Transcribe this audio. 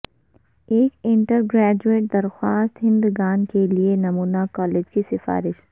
ایک undergraduate درخواست دہندگان کے لئے نمونہ کالج کی سفارش